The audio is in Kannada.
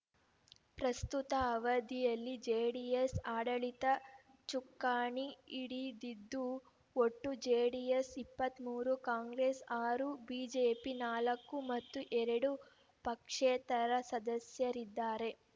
ಪ್ರಸ್ತುತ ಅವಧಿಯಲ್ಲಿ ಜೆಡಿಎಸ್‌ ಆಡಳಿತ ಚುಕ್ಕಾಣಿ ಹಿಡಿದಿದ್ದು ಒಟ್ಟು ಜೆಡಿಎಸ್‌ ಇಪ್ಪತ್ತ್ ಮೂರು ಕಾಂಗ್ರೆಸ್‌ ಆರು ಬಿಜೆಪಿ ನಾಲ್ಕು ಮತ್ತು ಎರಡು ಪಕ್ಷೇತರ ಸದಸ್ಯರಿದ್ದಾರೆ